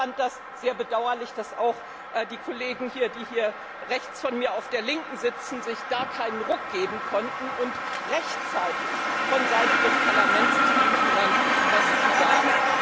Ich fand das sehr bedauerlich, dass auch die Kollegen, die hier rechts von mir auf der Linken sitzen, sich da keinen Ruck geben konnten, rechtzeitig von Seiten des Parlaments zu Griechenland etwas zu sagen.